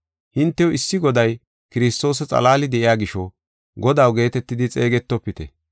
Hintew issi Goday Kiristoosa xalaali de7iya gisho ‘Godaw’ geetetidi xeegetofite.